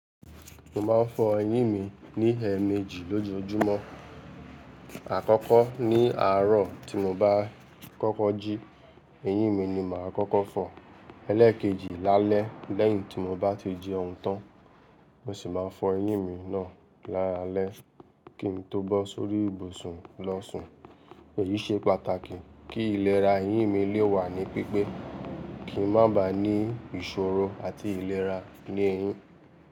Mo máa ń fọ eyín mi ní ẹ ẹméjì lójoojúmọ́. Àkọ́kọ́ ní àárọ̀ tí mo bá kọ́kọ́ jí, eyín mi ni màá kọ́kọ́ fọ. Eléèkejì lálẹ́ lẹ́yìn tí mo bá ti jẹun tán, mo sì máa fọ eyín mi náà lálalẹ́ kí n tó bọ́ sórí ibùsùn lọ sùn. Èyí ṣe pàtàkì kí ìlera eyín mi lè wà ní pípé, kí n má ba à ní ìṣòro àti ìlera ní eyín.